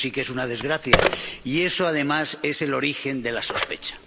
Y eso sí que es una desgracia, y eso además es el origen de la sospecha.